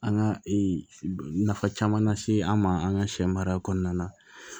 An ka e nafa caman lase an ma an ka sɛ mara kɔnɔna na